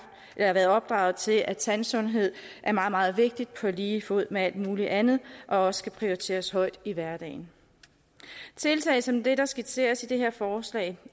været opdraget til at tandsundhed er meget meget vigtigt på lige fod med alt muligt andet og også skal prioriteres højt i hverdagen tiltag som det der skitseres i det her forslag